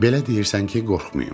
Belə deyirsən ki, qorxmayım.